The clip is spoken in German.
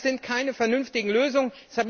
Das sind keine vernünftigen Lösungen.